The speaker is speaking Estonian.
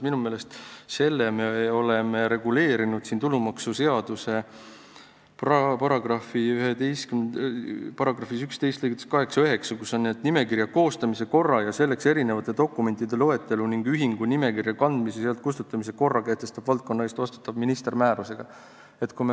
Minu meelest me oleme selle reguleerinud tulumaksuseaduse § 11 lõigetes 8 ja 9: nimekirja koostamise korra ja selleks esitatavate dokumentide loetelu ning ühingu nimekirja kandmise ja sealt kustutamise korra kehtestab valdkonna eest vastutav minister määrusega.